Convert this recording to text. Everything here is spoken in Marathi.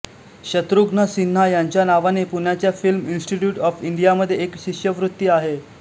शत्रुघ्न सिन्हा यांच्या नावाने पुण्याच्या फिल्म इन्स्टिट्यूट आॅफ इंडियामध्ये एक शिष्यवृत्ती आहे